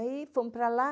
E aí fomos para lá.